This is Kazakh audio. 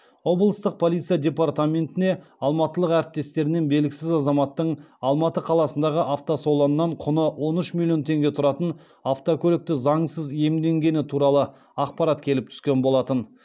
облыстық полиция департаментіне алматылық әріптестерінен белгісіз азаматтың алматы қаласындағы автосалоннан құны он үш миллион теңге тұратын автокөлікті заңсыз иемденгені туралы ақпарат келіп түскен болатын